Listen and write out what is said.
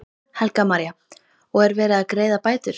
Helga María: Og er verið að greiða bætur?